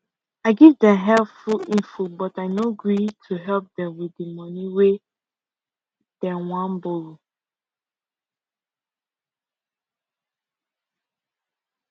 i give dem helpful info but i no agree to help dem with the money wey dem wan borrow